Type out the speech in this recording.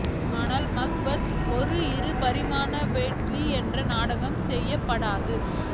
ஆனால் மக்பத் ஒரு இரு பரிமாண பேட்லி என்றால் நாடகம் செயல்படாது